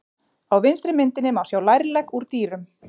Á vinstri myndinni má sjá lærlegg úr dýrum.